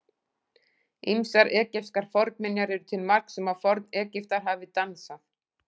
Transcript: Ýmsar egypskar fornminjar eru til marks um að Forn-Egyptar hafi dansað.